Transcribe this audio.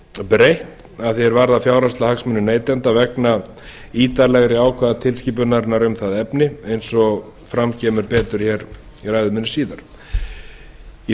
breytt að því er varðar fjárhagslega hagsmuni neytenda vegna ítarlegri ákvæða tilskipunarinnar um það efni eins og fram kemur betur hér í ræðu minni síðar í